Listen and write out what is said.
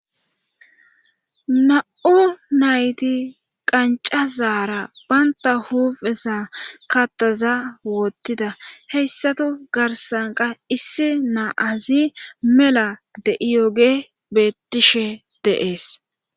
Na7u nayti qanca zaara baynta huuphesa kattaza woottida heyssato garsanka issi naa azi mela de7iyoge bettishe deees